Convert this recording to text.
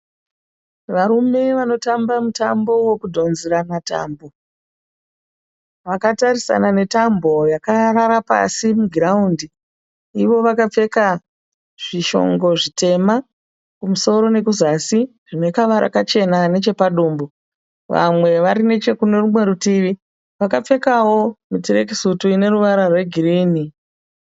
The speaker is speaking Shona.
Varume vanotamba mutambo wekudhonzerana tambo. Vakatarisana netambo yakarara pasi mugiraundi. Ivo vakapfeka zvishongo zvitema kumusoro nekuzasi zvinekavara kachena nechepadumbu. Vamwe vari nechekunerumwe rutivi, vakapfekawo turekisuti ineruvara rwegirinhi.